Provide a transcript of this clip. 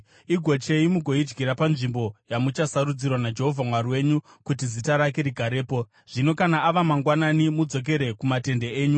Igochei mugoidyira panzvimbo yamuchasarudzirwa naJehovha Mwari wenyu kuti Zita rake rigarepo. Zvino kana ava mangwanani mudzokere kumatende enyu.